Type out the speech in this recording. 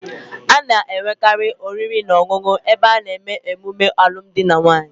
A na-enwekari oriri na onunu ebe a na-eme emume alum di na nwunye